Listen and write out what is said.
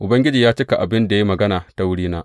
Ubangiji ya cika abin da ya yi magana ta wurina.